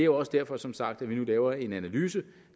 også derfor som sagt at vi nu laver en analyse